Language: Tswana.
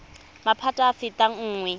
maphata a a fetang nngwe